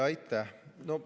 Aitäh!